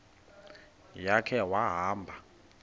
ya khe wahamba